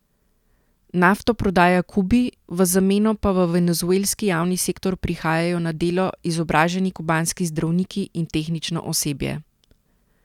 Nafto prodaja Kubi, v zameno pa v venezuelski javni sektor prihajajo na delo izobraženi kubanski zdravniki in tehnično osebje.